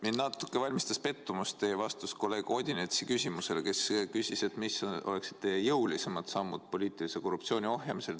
Mulle natuke valmistas pettumust teie vastus kolleeg Odinetsi küsimusele, kes küsis, millised oleksid teie jõulisemad sammud poliitilise korruptsiooni ohjamisel.